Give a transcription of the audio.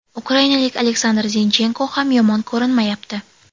Ukrainalik Oleksandr Zinchenko ham yomon ko‘rinmayapti.